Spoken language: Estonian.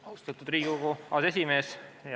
Austatud Riigikogu aseesimees!